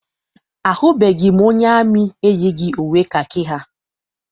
Ahụbeghị m onye amị eyighị uwe kakị ya.